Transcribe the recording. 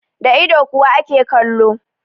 Da ido kuwa ake kallo.